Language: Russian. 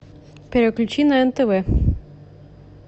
переключи на нтв